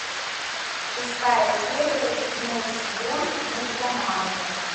шестая серия седьмой сезон мульт романовы